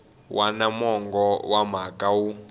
wana mongo wa mhaka wu